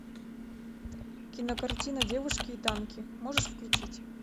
кинокартина девушки и танки можешь включить